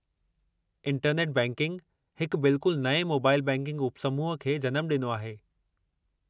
Internet banking हिकु बिल्कुल नएं मोबाइल बैंकिंग उपसमूह खे जनमु ॾिनो आहे।